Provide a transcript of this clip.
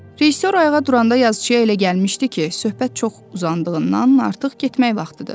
Rejissor ayağa duranda yazıçiya elə gəlmişdi ki, söhbət çox uzandığından artıq getmək vaxtıdır.